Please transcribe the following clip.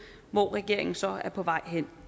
hvor regeringen så er på vej hen